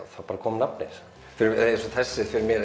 þá bara kom nafnið eins og þessi fyrir mér